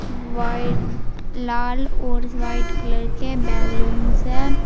White लाल और white colour के बैलूंस है।